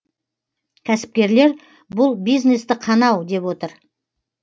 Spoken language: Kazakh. кәсіпкерлер бұл бизнесті қанау деп отыр